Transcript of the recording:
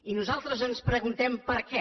i nosaltres ens preguntem per què